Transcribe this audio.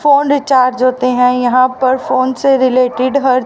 phone recharge होते हैं यहाँ पर फोन से रिलेटेड हर--